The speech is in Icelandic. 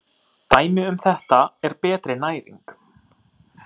Dæmi um þetta er betri næring.